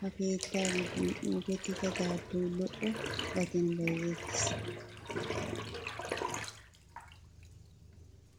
Ha keettaa giddon uukettida daabboyi lo''o gatiyan bayizettes.